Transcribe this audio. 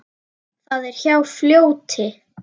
Það er hjá fljóti.